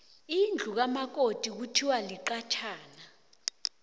indlu kamakoti kuthiwa liqathana